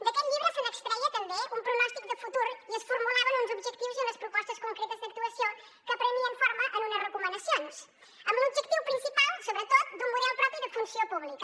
d’aquest llibre se n’extreia també un pronòstic de futur i es formulaven uns objectius i unes propostes concretes d’actuació que prenien forma en unes recomanacions amb l’objectiu principal sobretot d’un model propi de funció pública